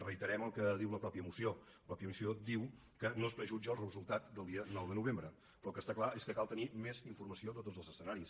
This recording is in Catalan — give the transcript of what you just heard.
reiterem el que diu la mateixa moció la moció diu que no es prejutja el resultat del dia nou de novembre però el que està clar és que cal tenir més informació de tots els escenaris